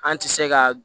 An ti se ka